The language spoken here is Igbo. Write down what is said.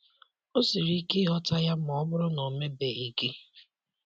O siri ike ịghọta ya ma ọ bụrụ na o mebeghị gị.